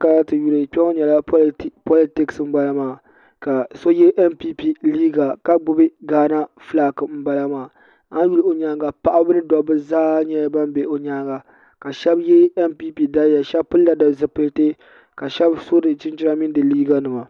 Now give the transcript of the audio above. paatɛ kpɛŋɔ nyɛla paatɛ politɛsi n bala maa ka so yɛ mpɛpɛ liga ka gbabi gana ƒɔlaki ayuli o nyɛŋa paɣ' ni do ba zaa nyɛla ban bɛ o nyɛŋa ka shɛbi yɛ mpɛpɛ daliya ka shɛbi bɛ yɛ shɛb pɛlila zupɛli ka shɛbi so chichina mini di liga nɛma